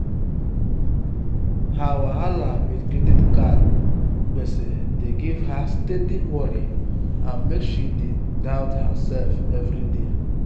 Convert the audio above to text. her wahala with credit card gbese dey give her steady worry and make she dey doubt herself every day.